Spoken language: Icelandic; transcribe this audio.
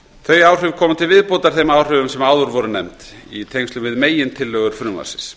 þau áhrif koma til viðbótar þeim áhrifum sem áður voru nefnd í tengslum við megintillögur frumvarpsins